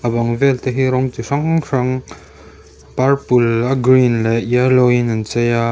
a bang vel te hi rawng chi hrang hrang purple a green leh yellow in an chei a --